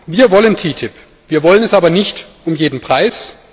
Wir wollen TTIP, wir wollen es aber nicht um jeden Preis.